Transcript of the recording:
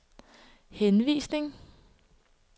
henvisning